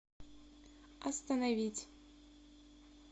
остановить